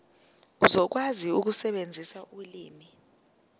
uzokwazi ukusebenzisa ulimi